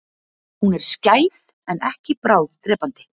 Hún er skæð en ekki bráðdrepandi.